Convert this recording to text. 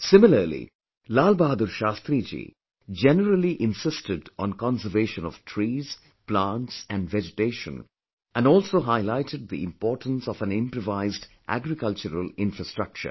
Similarly, Lal Bahadur Shastriji generally insisted on conservation of trees, plants and vegetation and also highlighted the importance of an improvised agricultural infrastructure